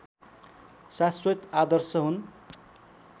शाश्वत आदर्श हुन्